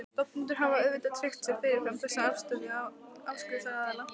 Stofnendur hafa auðvitað tryggt sér fyrirfram þessa afstöðu áskriftaraðila.